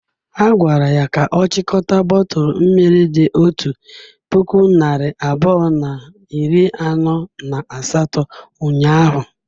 Ha gwara ya ka ọ chịkọta bọtụlụ mmiri dị otu puku narị abụọ na iri anọ na asatọ ụnyahụ.